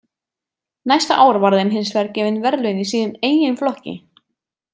Næsta ár var þeim hins vegar gefin verðlaun í sínum eigin flokki.